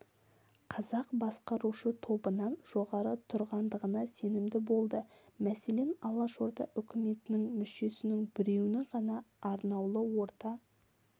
қазақ басқарушы тобынан жоғары тұрғандығына сенімді болды мәселен алашорда үкіметінің мүшесінің біреуінің ғана арнаулы орта